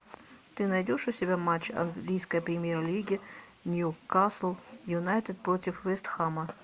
ты найдешь у себя матч английской премьер лиги ньюкасл юнайтед против вест хэма